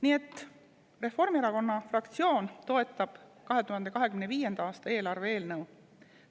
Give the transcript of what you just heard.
Nii et Reformierakonna fraktsioon toetab 2025. aasta eelarve eelnõu.